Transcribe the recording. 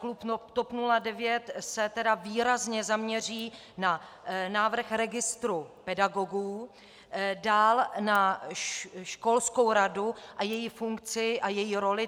Klub TOP 09 se tedy výrazně zaměří na návrh registru pedagogů, dál na školskou radu a její funkci a její roli.